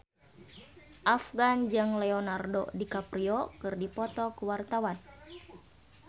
Afgan jeung Leonardo DiCaprio keur dipoto ku wartawan